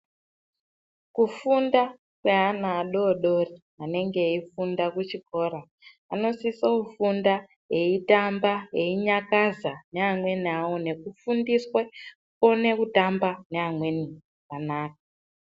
Kufunda kweana adodori anenge eifunda kuchikora anosiso kufunda eitamba einyakaza neamweni awo nekufundiswe kukona kutamba neamweni zvakanaka.